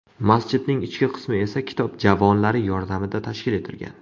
Masjidning ichki qismi esa kitob javonlari yordamida tashkil etilgan.